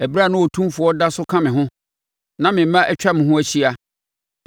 ɛberɛ a na Otumfoɔ da so ka me ho na me mma atwa me ho ahyia,